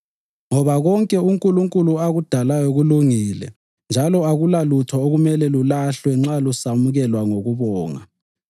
Ngoba konke uNkulunkulu akudalayo kulungile njalo akulalutho okumele lulahlwe nxa lusamukelwa ngokubonga